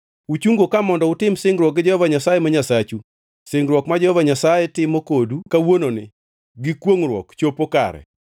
Uchungo ka mondo utim singruok gi Jehova Nyasaye ma Nyasachu, singruok ma Jehova Nyasaye timo kodu kawuononi gi kwongʼruok chopo kare,